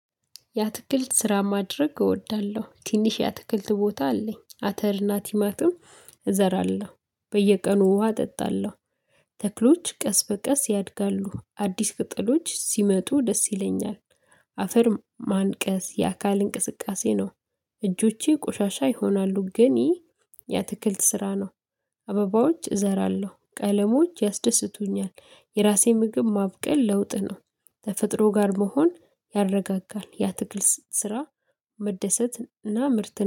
ያትክልት ስራ ማድረግ እወዳለሁ ትንሽ ያትክልት ቦታ አለኝ አተርና ቲማትም እዘራለሁ በየቀኑ ውሃ አጠጣለሁ። ተክሎች ቀስ በቀስ ያድጋሉ አዲስ ቅጠሎች ሲመጡ ደስ ይለኛል። አፈር ማንቀስ የአካል እንቅስቃሴ ነው። እጆቼ ቆሻሻ ይሆናሉ ግን የአትክልት ስራ ነው። አበባዎች እዘራለሁ ቀለሞች ያስደስቱኛል። የራሴ ምግብ ማብቀል ለውጥ ነው። ተፈጥሮ ጋር መሆን ያረጋጋል ያ ትግል ስራ። መደሰትና ምርት